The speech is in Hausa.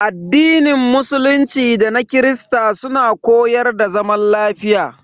Addinin musulunci da na Kirista suna koyar da zaman lafiya.